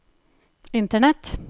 internett